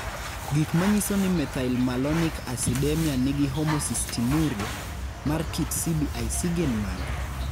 Gik manyiso ni methylmalonic acidemia nigi homocystinuria, mar kit cblC gin mage?